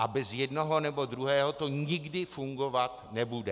A bez jednoho nebo druhého to nikdy fungovat nebude.